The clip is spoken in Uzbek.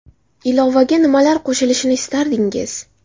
Ilovaga nimalar qo‘shilishini istardingiz?